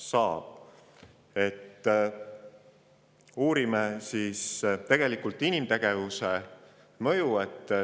Seega uurime inimtegevuse kliimamõju.